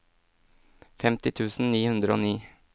femti tusen ni hundre og ni